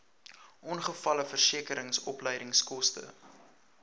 ongevalleversekering opleidingskoste